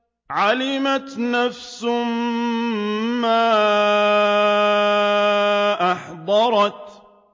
عَلِمَتْ نَفْسٌ مَّا أَحْضَرَتْ